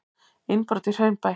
Innbrot í Hraunbæ